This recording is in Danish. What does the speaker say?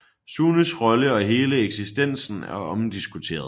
Sunes rolle og hele eksistens er omdiskuteret